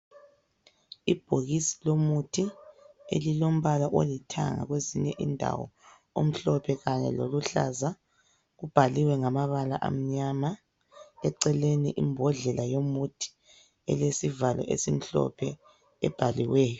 Ibhokisi lomuthi elilombala olithanga kwezinye indawo omhlophe kanye loluhlaza. Kubhaliwe ngamabala amnyama. Eceleni imbodlela yomuthi, elesivalo esimhlophe ebhaliweyo.